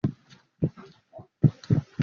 Ṣé o máa pàrọ̀ gílààsì iwájú ọkọ̀ náà?